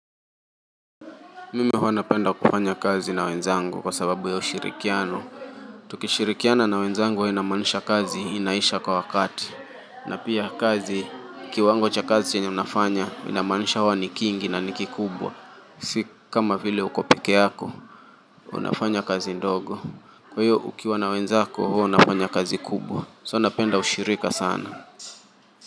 Mimi huwa napenda kufanya kazi na wenzangu, kwa sababu ya ushirikiano. Tukishirikiana na wenzangu inamaanisha kazi inaisha kwa wakati. Na pia kazi, kiwango cha kazi chenye unafanya inamaanisha huwa ni kingi na ni kikubwa. Si kama vile uko pekee yako. Unafanya kazi ndogo. Kwa hiyo ukiwa na wenzako huwa unafanya kazi kubwa. So napenda ushirika sana.